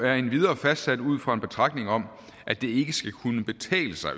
er endvidere fastsat ud fra en betragtning om at det ikke økonomisk skal kunne betale sig